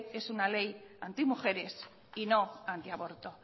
es una ley antimujeres y no antiaborto